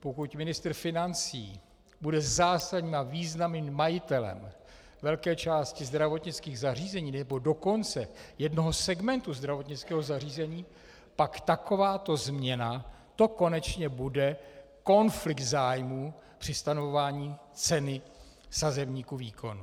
Pokud ministr financí bude zásadním a významným majitelem velké části zdravotnických zařízení, nebo dokonce jednoho segmentu zdravotnického zařízení, pak takováto změna, to konečně bude konflikt zájmů při stanovování ceny sazebníku výkonů.